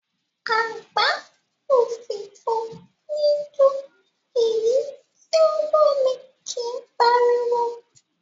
Àgbá òfìfo níí dún, èyí tí o lómi kí páriwo.